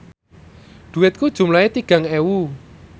dhuwitku jumlahe tigang ewu